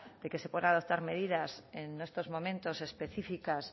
de que se puedan adoptar medidas en estos momentos específicas